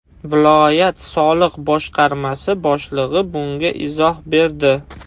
Viloyat soliq boshqarmasi boshlig‘i bunga izoh berdi.